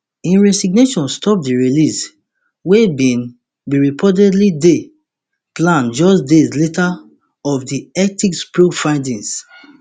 im resignation stop di release wey bin bin reportedly dey planned just days later of di ethics probe findings